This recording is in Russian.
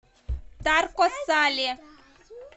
тарко сале